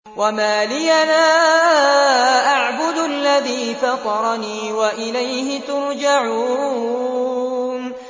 وَمَا لِيَ لَا أَعْبُدُ الَّذِي فَطَرَنِي وَإِلَيْهِ تُرْجَعُونَ